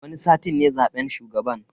Wani satin ne zaben shugaban.